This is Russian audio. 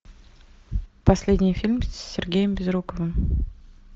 последний фильм с сергеем безруковым